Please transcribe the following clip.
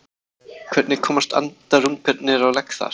hvernig komast andarungarnir á legg þar